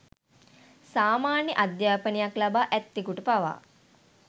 සාමාන්‍ය අධ්‍යාපනයක් ලබා ඇත්තෙකුට පවා